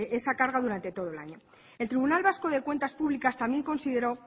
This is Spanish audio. esa carga durante todo el año el tribunal vasco de cuentas públicas también consideró